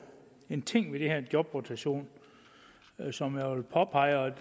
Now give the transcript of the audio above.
en ting ved jobrotation som jeg vil påpege